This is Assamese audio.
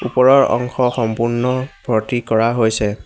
ওপৰৰ অংশ সম্পূৰ্ণ ভৰ্তি কৰা হৈছে।